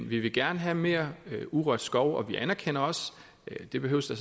vi vil gerne have mere urørt skov og vi anerkender også det behøves der